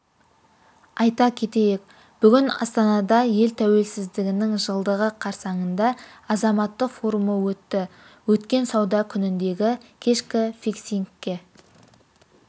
айта кетейік бүгін астанада ел тәуелсіздігінің жылдығы қарсаңында азаматтық форумы өтті өткен сауда күніндегі кешкі фиксингке